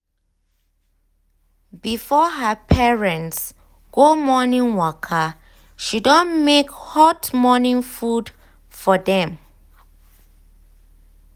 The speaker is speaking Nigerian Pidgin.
before her parents go morning waka she don make hot morning food for dem.